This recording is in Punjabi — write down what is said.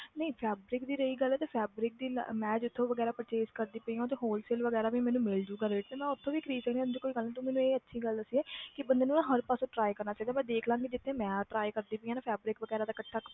ਨਹੀਂ fabric ਦੀ ਰਹੀ ਗੱਲ ਤੇ fabric ਦੀ ਮੈਂ ਜਿੱਥੋਂ ਵਗ਼ੈਰਾ purchase ਕਰਦੀ ਪਈ ਹਾਂ ਉੱਥੇ wholesale ਵਗ਼ੈਰਾ ਵੀ ਮੈਨੂੰ ਮਿਲ ਜਾਊਗਾ rate ਤੇ ਮੈਂ ਉੱਥੋਂ ਵੀ ਖ਼ਰੀਦ ਸਕਦੀ ਹਾਂ ਇਹ ਜਿਹੀ ਕੋਈ ਗੱਲ ਨੀ, ਤੂੰ ਮੈਨੂੰ ਇਹ ਅੱਛੀ ਗੱਲ ਦੱਸੀ ਹੈ ਕਿ ਬੰਦੇ ਨੂੰ ਨਾ ਹਰ ਪਾਸੇ try ਕਰਨਾ ਚਾਹੀਦਾ ਪਰ ਦੇਖ ਲਵਾਂਗੀ ਜਿੱਥੇ ਮੈਂ try ਕਰਦੀ ਪਈ ਹਾਂ ਨਾ fabric ਵਗ਼ੈਰਾ ਦਾ ਇਕੱਠਾ